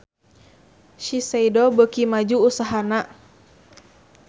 Shiseido beuki maju usahana